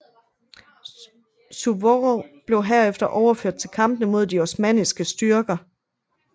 Suvorov blev herefter overført til kampene mod de osmanniske styrker